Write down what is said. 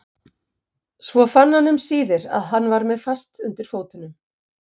Svo fann hann um síðir að hann var með fast undir fótunum.